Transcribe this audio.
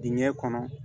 Dingɛ kɔnɔ